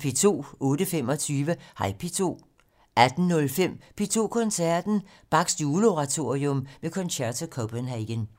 08:25: Hej P2 18:05: P2 Koncerten - Bachs Juleoratorium med Concerto Copenhagen